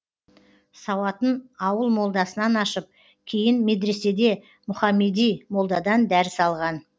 сауатын ауыл молдасынан ашып кейін медреседе мұхаммеди молдадан дәріс алған